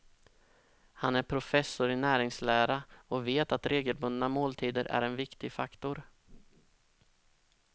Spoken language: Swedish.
Han är professor i näringslära och vet att regelbundna måltider är en viktig faktor.